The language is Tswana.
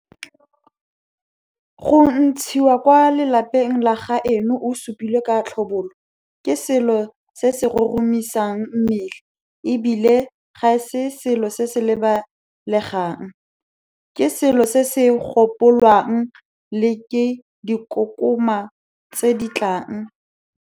Go ntshiwa kwa lapeng la gaeno o supilwe ka tlhobolo ke selo se se roromisang mmele e bile ga se selo se se lebalegang, ke selo se se gopolwang le ke dikokoma tse di tlang.